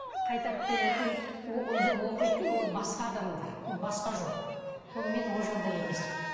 қайтарып беретін оқитын ол басқа адамдар ол басқа жол ол мен ол жолда емеспін